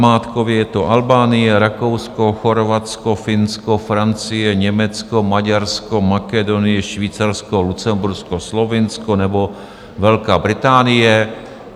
Namátkově je to Albánie, Rakousko, Chorvatsko, Finsko, Francie, Německo, Maďarsko, Makedonie, Švýcarsko, Lucembursko, Slovinsko nebo Velká Británie.